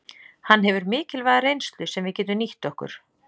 Hann hefur mikilvæga reynslu sem við getum nýtt okkur.